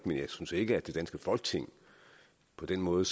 men jeg synes ikke at det danske folketing på den måde